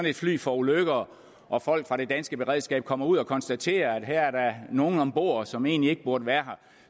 et fly forulykker og folk fra det danske beredskab kommer ud og konstaterer at her er der nogle om bord som egentlig ikke burde være